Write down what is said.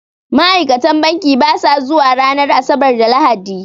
Ma'ikatan banki basa zuwa ranar Asabar da Lahadi